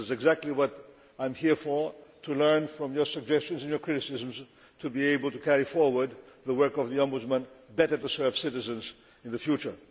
That is exactly what I am here for to learn from your suggestions and your criticisms so as to be able to carry forward the work of the Ombudsman, the better to serve citizens in the future.